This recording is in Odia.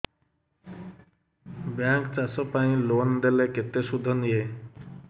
ବ୍ୟାଙ୍କ୍ ଚାଷ ପାଇଁ ଲୋନ୍ ଦେଲେ କେତେ ସୁଧ ନିଏ